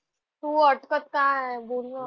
तू अडकत का आहे? बोल ना.